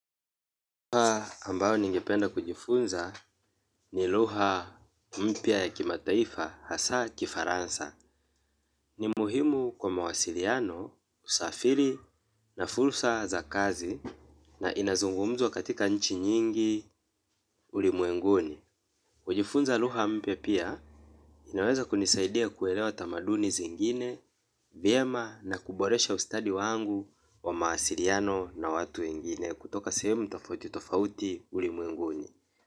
Lugha ambayo ningependa kujifunza ni lugha mpya ya kimataifa hasa kifaransa. Ni muhimu kwa mawasiliano, usafiri na fursa za kazi na inazungumzwa katika nchi nyingi ulimwenguni. Kujifunza lugha mpya pia inaweza kunisaidia kuelewa tamaduni zingine, vyema na kuboresha ustadi wangu wa mawasiliano na watu wengine kutoka sehemu tafauti tafauti ulimwenguni.